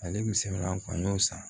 Ale kun sɛmɛni an y'o san